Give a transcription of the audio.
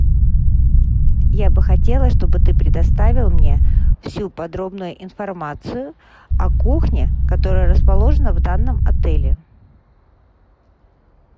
я бы хотела чтобы ты предоставил мне всю подробную информацию о кухне которая расположена в данном отеле